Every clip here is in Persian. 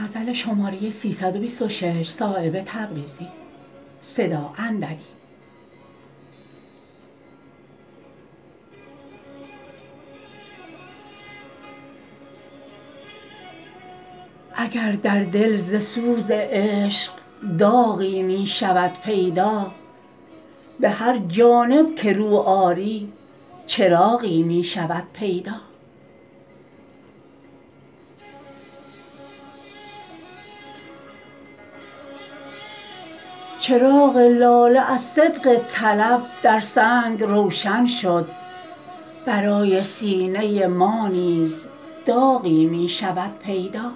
اگر در دل ز سوز عشق داغی می شود پیدا به هر جانب که رو آری چراغی می شود پیدا چراغ لاله از صدق طلب در سنگ روشن شد برای سینه ما نیز داغی می شود پیدا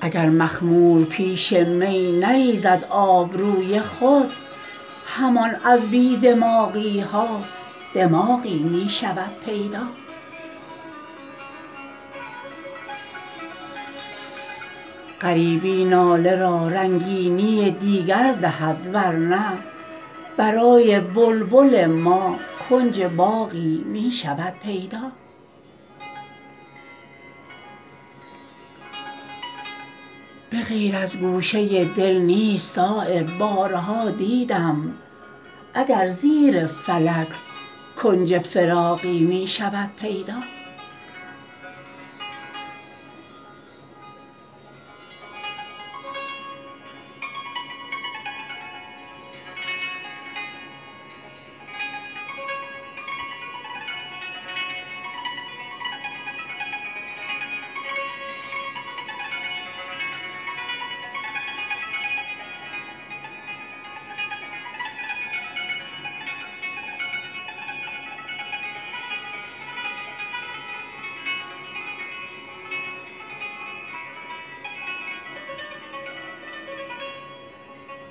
اگر مخمور پیش می نریزد آبروی خود همان از بی دماغی ها دماغی می شود پیدا غریبی ناله را رنگینی دیگر دهد ورنه برای بلبل ما کنج باغی می شود پیدا به غیر از گوشه دل نیست صایب بارها دیدم اگر زیر فلک کنج فراغی می شود پیدا